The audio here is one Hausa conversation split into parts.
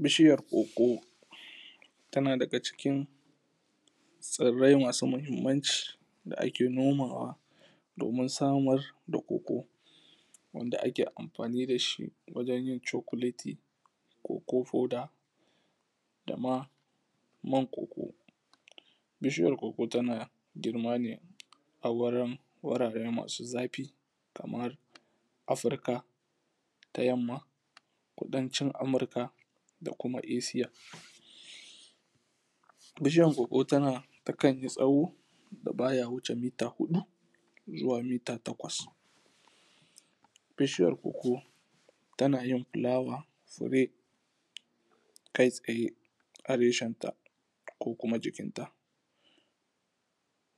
Bishiyar ƙoƙo, tana daga cikin tsirrai masu mahimmanci. Da ake nomawa, domin samar da ƙoƙo. Wanda ake amfani dashi wajen yin chocolati, koko powder. dama man ƙoƙo. Bishiyar ƙoƙo tana germane, a wurin wurare masu zafi. Kamar Africa ta yamma, kudancin Amurka, dakuma Esiya. Bishiyan ƙoƙo tana takanyi tsawo, da baya wuce mita huda, zuwa mita takwas. Bishiyar koko tanayin flawa, tsire, kai tsaye a reshenta. Ko kuma jikinta.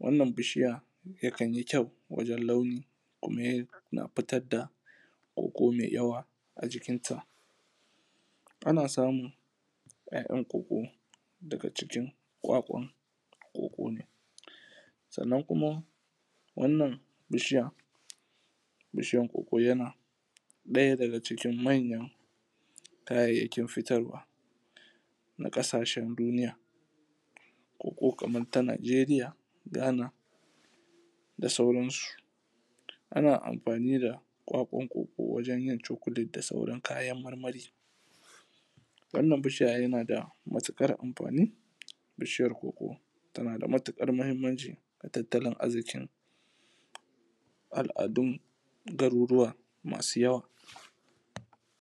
Wannan bishiya, yakanyi kyau wajen launi kuma yana fitar da ƙoƙo mai yawa ajikinta. Ana samun, ya’yan ƙoƙo daga jikin ƙwaƙwan ƙoƙo ne. Sannan kuma, wannan bishiya bishiyan ƙoƙo yana, daya daga cikin manyan kayayyakin fitarwa na kasashen duniya. Koko kaman ta Nigeria, Ghana, da sauransu. Ana amfani da ƙwaƙwan ƙoƙo, wajen yin chocolate da sauran kayan marmari. Wannan bishiya yanada matukar amfani, Bishiyar koko, Tana da matukar muhimmanci, a tattalin arzikin al’adun, garuruwa masu yawa.